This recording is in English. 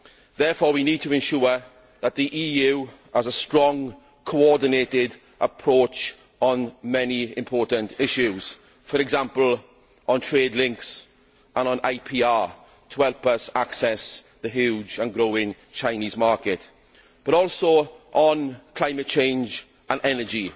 We therefore need to ensure that the EU has a strong, coordinated approach on many important issues for example, on trade links and on IPR, to help us access the huge and growing Chinese market, but also on climate change and energy.